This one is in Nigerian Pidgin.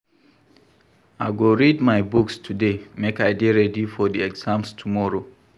I go read my books today make I dey ready for di exam tomorrow.